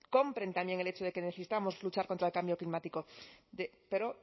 compren también el hecho de que necesitamos luchar contra el cambio climático pero